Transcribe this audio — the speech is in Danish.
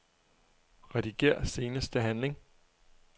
Rediger seneste handling.